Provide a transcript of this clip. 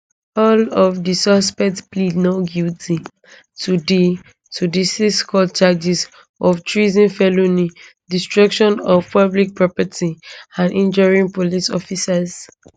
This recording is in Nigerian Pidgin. all of di suspects plead not guilty to di to di sixcount charges of treason felony destruction of public property and injuring police officers